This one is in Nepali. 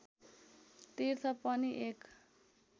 तीर्थ पनि एक